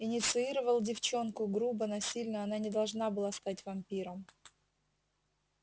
инициировал девчонку грубо насильно она не должна была стать вампиром